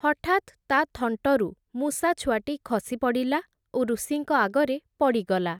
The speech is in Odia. ହଠାତ୍, ତା’ ଥଣ୍ଟରୁ ମୂଷାଛୁଆଟି ଖସିପଡ଼ିଲା, ଓ ଋଷିଙ୍କ ଆଗରେ ପଡ଼ିଗଲା ।